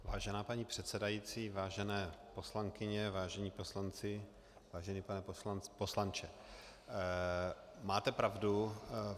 Vážená paní předsedající, vážené poslankyně, vážení poslanci, vážený pane poslanče, máte pravdu.